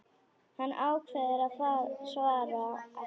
Hann ákveður að svara ekki.